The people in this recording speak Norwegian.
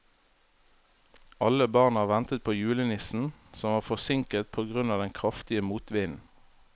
Alle barna ventet på julenissen, som var forsinket på grunn av den kraftige motvinden.